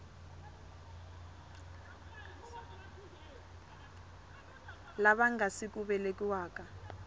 lava nga si ku velekiwaka